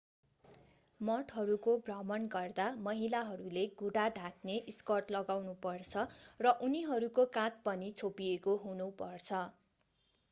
मठहरूको भ्रमण गर्दा महिलाहरूले घुँडा ढाक्ने स्कर्ट लगानुपर्छ र उनीहरूको काँध पनि छोपिएको हुनुपर्छ